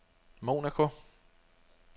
Monaco